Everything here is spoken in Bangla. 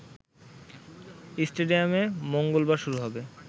স্টেডিয়ামে মঙ্গলবার শুরু হবে